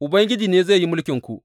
Ubangiji ne zai yi mulkinku.